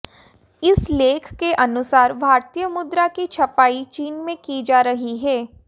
इस लेख के अनुसार भारतीय मुद्रा की छपाई चीन में की जा रही है